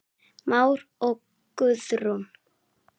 Már og Guðrún.